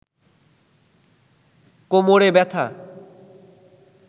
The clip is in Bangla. কোমরে ব্যাথা